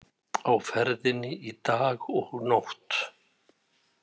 Á ferðinni í dag og nótt